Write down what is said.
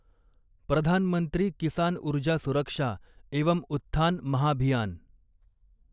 प्रधान मंत्री किसान ऊर्जा सुरक्षा एवं उत्थान महाभियान